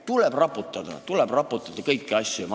Tuleb raputada, tuleb raputada kõiki asju!